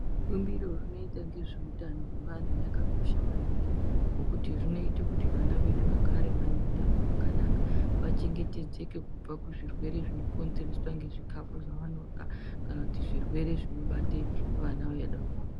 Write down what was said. Bumbiro rinoita ngezveutano wewanhu rakakosha maningi ngokuti rinoita kuti wana wedu wagare wane utano hwakanaka, wachengetedzeke kubva kuzvirwere zvinokonzereswa ngezvikhafu zvaanorya kana zvirwere zvinobata wana wadoko.